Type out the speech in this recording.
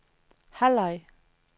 halvleg